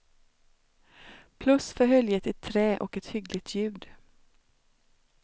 Plus för höljet i trä och ett hyggligt ljud.